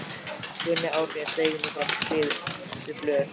Gunni Árnýjar steig nú fram með skrifuð blöð.